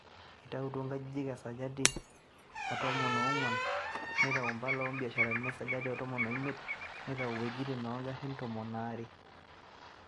Itautwo inkajijik e sajati etomon oonguan, neitau impala o mbiasharani esajati e tomon o imiet neitau wuejitin oo ngarin tomon o are.